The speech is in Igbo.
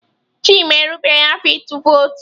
Chima erubeghị afọ ịtụ vootu.